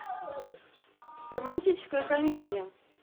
романтическая комедия